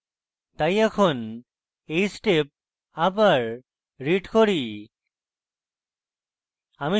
তাই এখন এই step আবার redo করি